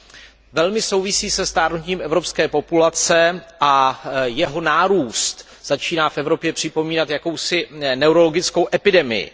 Ten velmi souvisí se stárnutím evropské populace a jeho nárůst začíná v Evropě připomínat jakousi neurologickou epidemii.